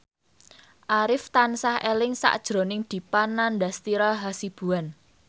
Arif tansah eling sakjroning Dipa Nandastyra Hasibuan